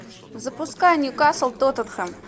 запускай ньюкасл тоттенхэм